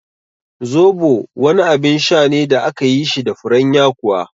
Zobo wani abin sha ne da akayi shi da furen yakuwa